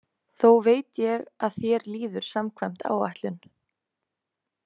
Þó veit ég að þér líður samkvæmt áætlun.